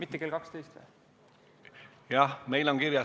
Jah, meil on siin kirjas, et 12.